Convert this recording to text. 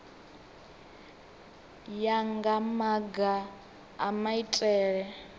ya nga maga a maitele